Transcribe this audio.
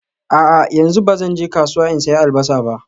A'a, yanzu ba zan je kasuwa in sayi Albasa ba